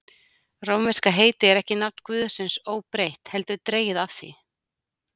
Rómverska heitið er ekki nafn guðsins óbreytt, heldur dregið af því.